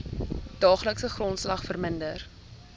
daaglikse grondslag verminder